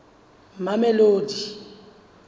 mamelodi